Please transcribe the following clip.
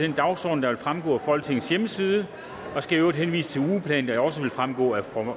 den dagsorden der vil fremgå af folketingets hjemmeside og skal i øvrigt henvise til ugeplanen der også vil fremgå af